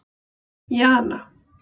Jana